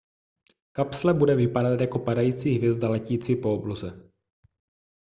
kapsle bude vypadat jako padající hvězda letící po obloze